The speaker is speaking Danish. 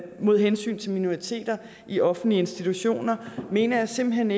mod hensyn til minoriteter i offentlige institutioner mener jeg simpelt hen